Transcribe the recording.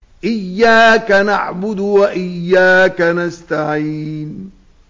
إِيَّاكَ نَعْبُدُ وَإِيَّاكَ نَسْتَعِينُ